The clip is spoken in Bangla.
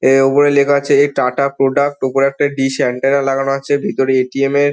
এ ওপরে লেখা আছে এ টাটা প্রোডাক্ট । ওপরে একটা ডিশ এন্টেনা লাগানো আছে ভেতরে এ.টি.এম. এর--